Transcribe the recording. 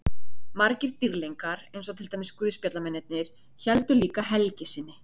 Margir dýrlingar eins og til dæmis guðspjallamennirnir héldu líka helgi sinni.